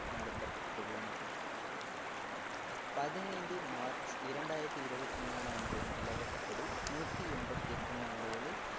நடத்தப்பட்டுள்ளன பதினைந்து மார்ச் இரண்டாயிரத்தி இருபத்தி மூணு அன்றைய நிலவரப்படி நூத்தி எண்பத்தி எட்டு நாடுகளில்